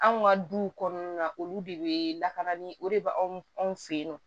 Anw ka duw kɔnɔna na olu de bɛ lakana ni o de bɛ anw fɛ yen nɔ